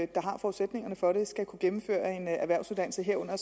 der har forudsætningerne for det skal kunne gennemføre en erhvervsuddannelse herunder